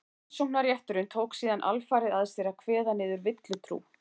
rannsóknarrétturinn tók síðan alfarið að sér að kveða niður villutrú